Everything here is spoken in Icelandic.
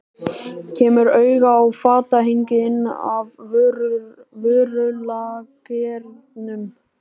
Kemur auga á fatahengi inn af vörulagernum.